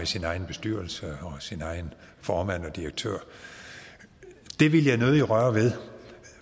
sin egen bestyrelse og sin egen formand og direktør det vil jeg nødig røre ved